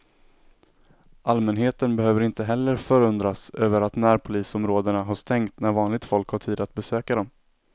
Allmänheten behöver inte heller förundras över att närpolisområdena har stängt när vanligt folk har tid att besöka dem.